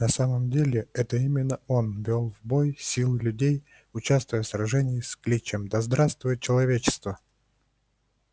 на самом деле это именно он вёл в бой силы людей участвуя в сражении с кличем да здравствует человечество